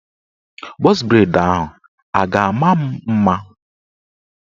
Bọz breid ahụ a ga-ama m mma?